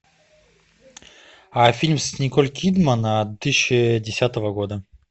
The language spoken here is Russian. фильм с николь кидман две тысячи десятого года